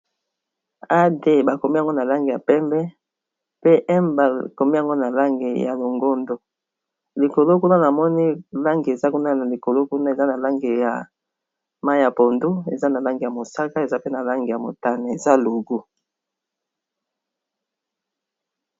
Ad ba komi yango na langi ya pembe pe m ba komi yango na langi ya longondo, likolo kuna na moni langi eza kuna na likolo kuna, eza na langi ya mai ya pondu, eza na langi ya mosaka eza pe na langi ya motane, eza logo .